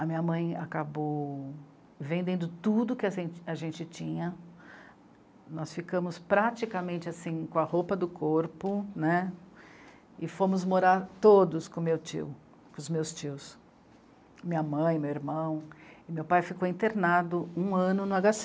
a minha mãe acabou vendendo tudo que a zent... a gente tinha, nós ficamos praticamente, assim, com a roupa do corpo, né, e fomos morar todos com o meu tio, com os meus tios, minha mãe, meu irmão, e meu pai ficou internado um ano no